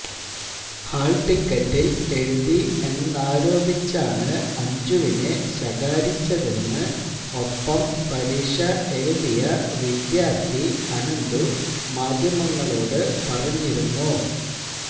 hall ടിക്കറ്റിൽ എഴുതി എന്നാരോപിച്ചാണ് അഞ്ജുവിനെ ശകാരിച്ചതെന്ന് ഒപ്പം പരീക്ഷ എഴുതിയ വിദ്യാർത്ഥി അനന്ദു മാധ്യമങ്ങളോട് പറഞ്ഞിരുന്നു